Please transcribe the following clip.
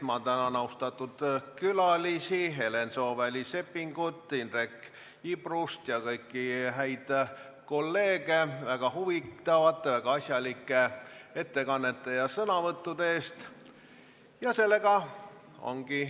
Ma tänan austatud külalisi Helen Sooväli-Seppingut, Indrek Ibrust ja kõiki häid kolleege väga huvitavate, väga asjalike ettekannete ja sõnavõttude eest!